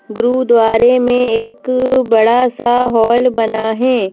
गुरुद्वारे में एक बड़ा सा हॉल बना है ।